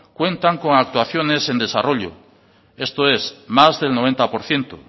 cuentan con actuaciones en desarrollo esto es más del noventa por ciento